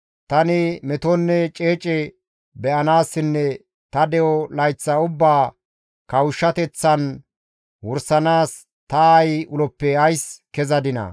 Tani metonne ceece be7anaassinne ta de7o layththaa ubbaa kawushshateththan wursanaas ta aayi uloppe ays kezadinaa?